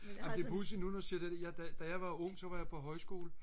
det er pudsigt nu når du siger det da jeg var ung så var jeg på højskole